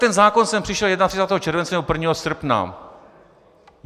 Ten zákon sem přišel 31. července, nebo 1. srpna.